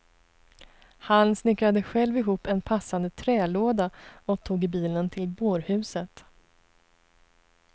Han snickrade själv ihop en passande trälåda och tog bilen till bårhuset.